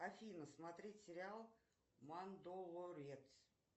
афина смотреть сериал мандолорец